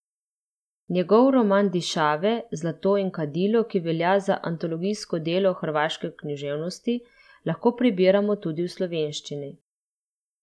Njegov roman Dišave, zlato in kadilo, ki velja za antologijsko delo hrvaške književnost, lahko prebiramo tudi v slovenščini.